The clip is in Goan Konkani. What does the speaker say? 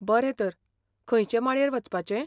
बरें तर, खंयचे माळयेर वचपाचें?